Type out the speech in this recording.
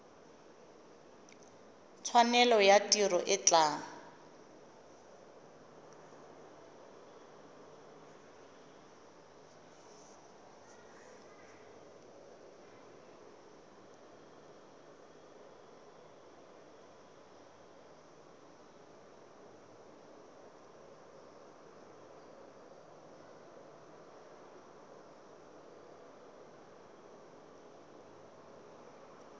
tshwanelo ya tiro e tla